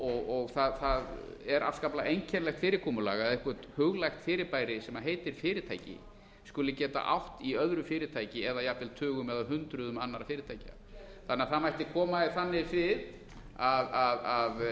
og það er afskaplega einkennilegt fyrirkomulag að eitthvert huglægt fyrirbæri sem heitir fyrirtæki skuli geta átt í öðru fyrirtæki eða jafnvel tugum eða hundruðum annarra fyrirtækja það mætti koma því þannig fyrir að